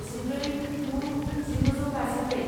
जिब्रै गु जिगुजौबाजिब्रै